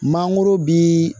Mangoro bi